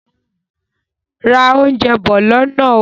Ra oúnjẹ bọ̀ lọ́nà ó!